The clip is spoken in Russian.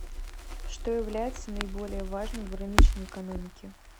что является наиболее важным в рыночной экономике